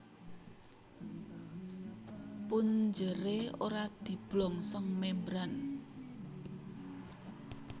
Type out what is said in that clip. Punjeré ora diblongsong membran